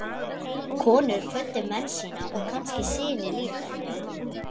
Konur kvöddu menn sína og kannski syni líka.